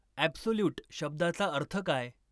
absolute शब्दाचा अर्थ काय